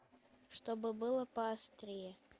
чтобы было поострее